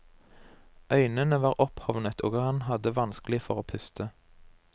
Øynene var opphovnet og han hadde vanskelig for å puste.